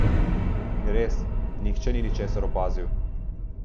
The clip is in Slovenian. In res, nihče ni ničesar opazil!